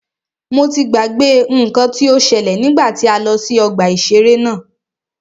Mo ti gbàgbé nnkan tí o ṣẹ́lẹ̀ nígbà tí a lọ sí ọgbà ìṣẹ̀rẹ́ náà.